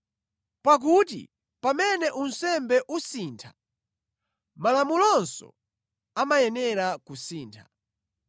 Pakuti pamene unsembe usintha, malamulonso amayenera kusintha.